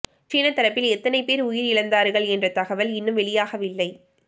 சீன தரப்பில் எத்தனை பேர் உயிரிழந்தார்கள் என்ற தகவல் இன்னும் வெளியாகவில்லை